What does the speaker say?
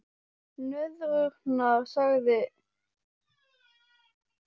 Nöðrurnar, sagði hann við sjálfan sig.